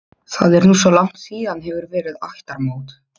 Það er nú svo langt síðan hefur verið ættarmót.